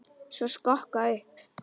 Stokka upp.